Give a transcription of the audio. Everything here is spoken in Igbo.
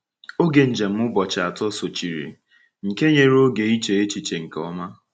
Oge njem ụbọchị atọ sochiri, nke nyere oge iche echiche nke ọma.